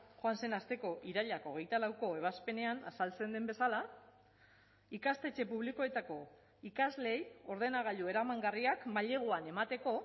joan zen asteko irailak hogeita lauko ebazpenean azaltzen den bezala ikastetxe publikoetako ikasleei ordenagailu eramangarriak maileguan emateko